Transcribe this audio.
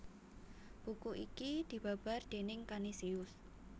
Buku iki dibabar déning Kanisius